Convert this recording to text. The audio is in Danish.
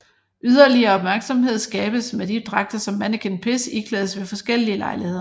Yderligere opmærksomhed skabes med de dragter som Manneken Pis iklædes ved forskellige lejligheder